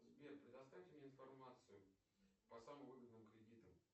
сбер предоставь мне информацию по самым выгодным кредитам